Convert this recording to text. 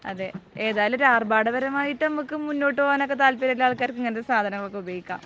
അതെ. ഏതായാലും ഒരു ആർഭാടപരമായിട്ട് നമുക്ക് മുന്നോട്ടുപോകാൻ ഒക്കെ താല്പര്യമുള്ള ആൾക്കാർക്ക് ഇങ്ങനത്തെ സാധനങ്ങളൊക്കെ ഉപയോഗിക്കാം.